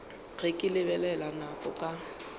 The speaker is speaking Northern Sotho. ge ke lebelela nako ka